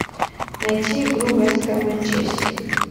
найти игру вест хэм манчестер